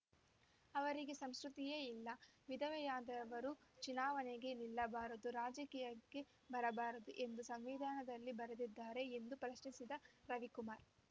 ಅವರಿಗೆ ಸಂಸ್ಕೃತಿಯೇ ಇಲ್ಲ ವಿಧವೆಯಾದರವರು ಚುನಾವಣೆಗೆ ನಿಲ್ಲಬಾರದು ರಾಜಕೀಯಕ್ಕೆ ಬರಬಾರದು ಎಂದು ಸಂವಿಧಾನದಲ್ಲಿ ಬರೆದಿದ್ದಾರೆ ಎಂದು ಪ್ರಶ್ನಿಸಿದ ರವಿಕುಮಾರ್